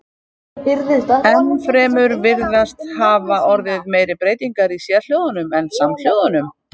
Enn fremur virðast hafa orðið meiri breytingar í sérhljóðunum en samhljóðunum.